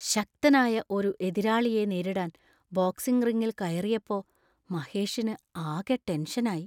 ശക്തനായ ഒരു എതിരാളിയെ നേരിടാൻ ബോക്സിങ് റിങ്ങിൽ കയറിയപ്പോ മഹേഷിനു ആകെ ടെൻഷൻ ആയി .